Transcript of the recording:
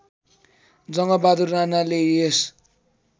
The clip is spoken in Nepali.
जङ्गबहादुर राणाले यस